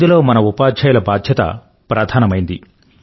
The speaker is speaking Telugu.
ఇందులో మన ఉపాధ్యాయుల బాధ్యత ప్రధానమైంది